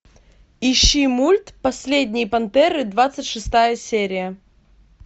ищи мульт последние пантеры двадцать шестая серия